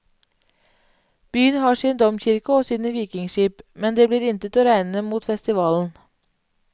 Byen har sin domkirke og sine vikingskip, men det blir intet å regne mot festivalen.